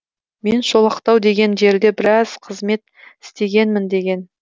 мен шолақтау деген жерде біраз қызмет істегенмін деген